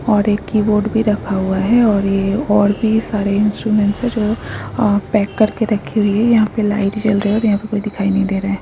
और एक कीबोर्ड भी रखा हुआ है और ये और भी सारे इंस्ट्रूमेंट है जो पैक करके रखी हुए है यहाँ पे लाइट जल रही है और यहाँ पे कोई दिखाई नहीं दे रहा हैं।